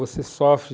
Você sofre...